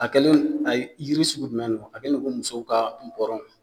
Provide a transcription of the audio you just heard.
A kɛlen ayi yiri sugu jumɛn don a kɛlen no i ko musow ka nɔbɔrɔn